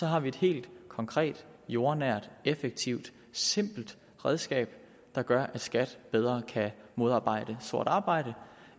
har et helt konkret jordnært effektivt simpelt redskab der gør at skat bedre kan modarbejde sort arbejde